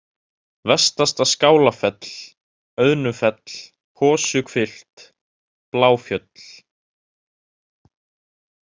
Vestasta-Skálafell, Auðnufell, Hosuhvilft, Bláfjöll